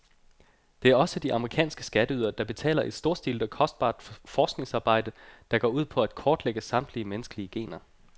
Det er også de amerikanske skatteydere, der betaler et storstilet og kostbart forskningsarbejde, der går ud på at kortlægge samtlige menneskelige gener.